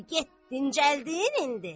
Di get dincəldin indi?